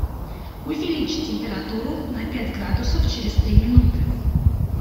увеличить температуру на пять градусов через три минуты